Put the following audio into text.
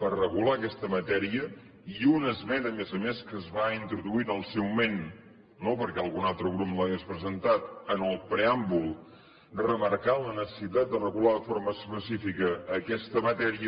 per regular aquesta matèria i una esmena a més a més que es va introduir en el seu moment no perquè algun altre grup no l’hagués presentat en el preàmbul remarcant la necessitat de regular de forma específica aquesta matèria